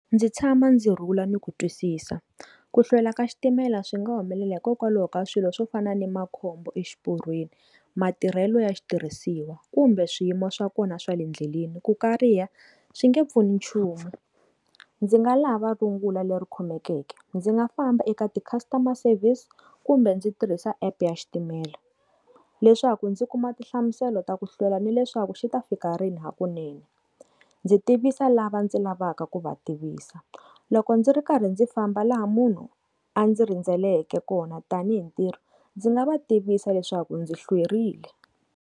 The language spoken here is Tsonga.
Ndzi tshama ndzi rhula ni ku twisisa ku hlwela ka xitimela swi nga humelela hikokwalaho ka swilo swo fana na makhombo exiporweni matirhelo ya xitirhisiwa kumbe swiyimo swa kona swa le endleleni ku kariha swi nge pfuni nchumu ndzi nga lava rungula leri khumbekeke ndzi nga famba eka ti customer service kumbe ndzi tirhisa app ya xitimela leswaku ndzi kuma tinhlamuselo ta ku hlwela ni leswaku xi ta fika rini hakunene ndzi tivisa lava ndzi lavaka ku va tivisa loko ndzi ri karhi ndzi famba laha munhu a ndzi rhendzeleke kona tanihi ntirho ndzi nga va tivisa leswaku ndzi hlwerile.